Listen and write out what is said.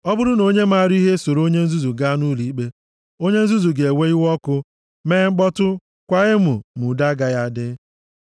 Ọ bụrụ na onye maara ihe esoro onye nzuzu gaa nʼụlọikpe, onye nzuzu ga-ewe iwe ọkụ, mee mkpọtụ, kwaa emo ma udo agaghị adị.